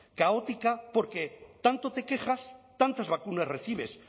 caótica porque tanto te quejas tantas vacunas recibes